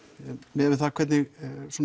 miðað við það hvernig